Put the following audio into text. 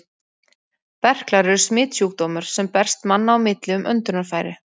Berklar eru smitsjúkdómur, sem berst manna á milli um öndunarfæri.